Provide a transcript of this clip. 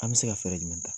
An bɛ se ka fɛɛrɛ jumɛn ta